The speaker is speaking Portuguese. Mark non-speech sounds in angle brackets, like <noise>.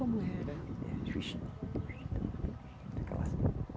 Como era? Era <unintelligible>